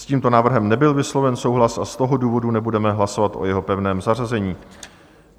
S tímto návrhem nebyl vysloven souhlas, a z toho důvodu nebudeme hlasovat o jeho pevném zařazení.